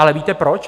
Ale víte proč?